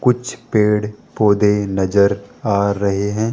कुछ पेड़-पौधे नजर आ रहे हैं।